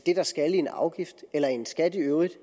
der skal i en afgift eller i en skat i øvrigt